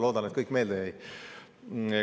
Loodan, et kõik jäi meelde.